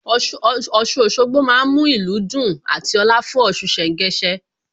Ọ̀ṣun Òṣogbo má ń mú ìlú dùn àti ọ̀la fún Ọ̀ṣun ṣẹ̀ńgẹṣẹ́